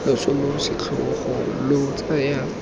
loso lo setlhogo lo tsaya